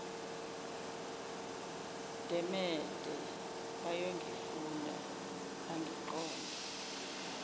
demede bayongifunda bangiqonde